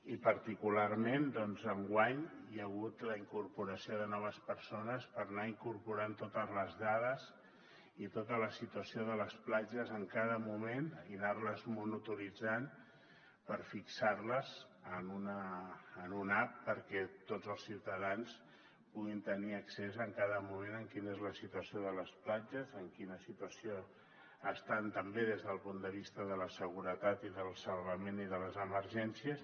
i particularment doncs enguany hi ha hagut la incorporació de noves persones per anar incorporant totes les dades i tota la situació de les platges en cada moment i anar les monitoritzant per fixar les en una app perquè tots els ciutadans puguin tenir accés en cada moment a quina és la situació de les platges en quina situació estan també des del punt de vista de la seguretat i del salvament i de les emergències